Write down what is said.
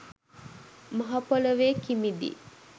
මහ පොළොවේ කිමිදී